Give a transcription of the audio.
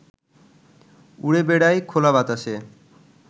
উড়ে বেড়ায় খোলা বাতাসে